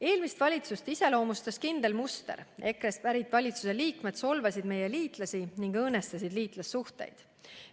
Eelmist valitsust iseloomustas kindel muster: EKRE-st pärit valitsuse liikmed solvasid meie liitlasi ning õõnestasid liitlassuhteid.